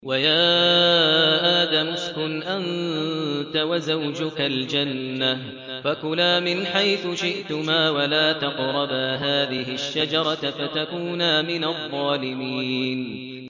وَيَا آدَمُ اسْكُنْ أَنتَ وَزَوْجُكَ الْجَنَّةَ فَكُلَا مِنْ حَيْثُ شِئْتُمَا وَلَا تَقْرَبَا هَٰذِهِ الشَّجَرَةَ فَتَكُونَا مِنَ الظَّالِمِينَ